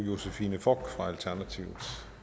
for